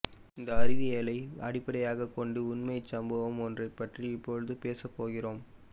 இந்த அறிவியலை அடிப்படையாக கொண்ட உண்மை சம்பவம் ஒன்றை பற்றி இப்பொழது பேசப்போகிறோம்